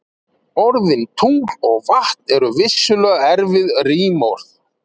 Orðin tungl og vatn eru vissulega erfið rímorð.